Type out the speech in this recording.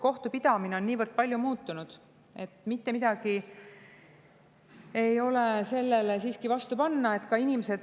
Kohtupidamine on niivõrd palju muutunud, et mitte midagi ei ole sellele vastu panna.